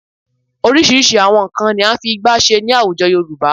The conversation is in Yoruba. Oríṣiríṣi àwọn nnkan ni à ń fi ìgbá ṣe ní àwùjọ Yorùbá